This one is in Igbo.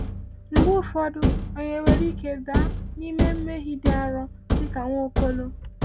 Mgbe ụfọdụ, anyị nwere ike daa n’ime mmehie dị arọ dị ka Nwaokolo.